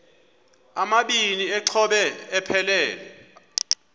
amabini exhobe aphelela